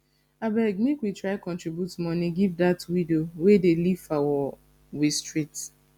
abeg make we try contribute moni give dat widow wey dey live for we street